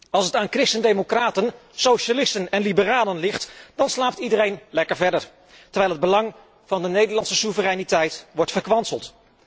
Als het aan christen democraten, socialisten en liberalen ligt, dan slaapt iedereen lekker verder, terwijl het belang van de Nederlandse soevereiniteit wordt verkwanseld.